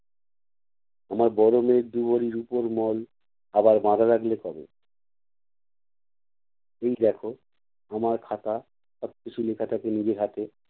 আমার বড় মেয়ের দু'ভরি রূপোর মল আবার বাঁধা রাখলে কবে? এই দেখো আমার খাতা। সবকিছু লেখা থাকে নিজের হাতে।